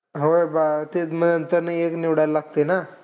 होय. बा ते मग त्यातनं एक निवडायला लागतं ना.